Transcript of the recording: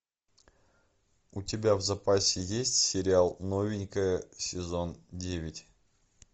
у тебя в запасе есть сериал новенькая сезон девять